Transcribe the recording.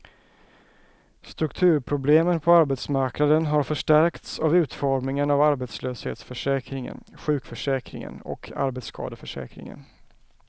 Strukturproblemen på arbetsmarknaden har förstärkts av utformningen av arbetslöshetsförsäkringen, sjukförsäkringen och arbetsskadeförsäkringen.